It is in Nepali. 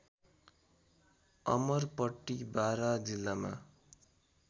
अमरपट्टी बारा जिल्लामा